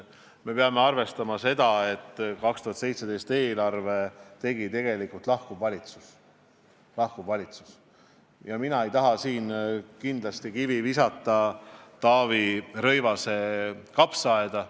Me peame arvestama seda, et 2017. aasta eelarve tegi lahkuv valitsus ja mina ei taha siin kindlasti kivi visata Taavi Rõivase kapsaaeda.